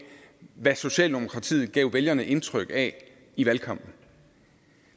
hvad socialdemokratiet gav vælgerne indtryk af i valgkampen